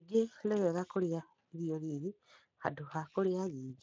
Kaingĩ nĩ wega kũrĩa irio nini handũ ha kũrĩa nyingĩ.